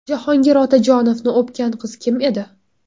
Jahongir Otajonovni o‘pgan qiz kim edi?